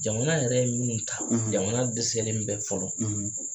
Jamana yɛrɛ ye minnu ta jamana dɛsɛlen bɛ fɔlɔ